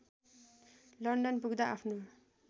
London पुग्दा आफ्नो